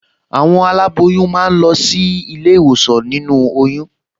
Àwọn aláboyún máa ń lọ sílé ìwòsàn nínú oyún